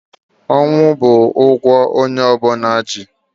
Ọnwụ bụ ụgwọ onye ọbụna dị ndụ ji.